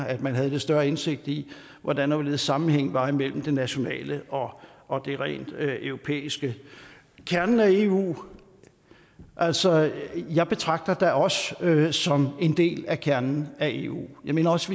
at man havde lidt større indsigt i hvordan og hvorledes sammenhængen var mellem det nationale og det rent europæiske kernen af eu altså jeg betragter da os som en del af kernen af eu vi mener også